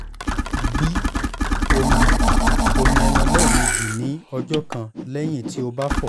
gbi omi-omi ẹnu lẹmeji ni ọjọ kan lẹhin ti o ba fọ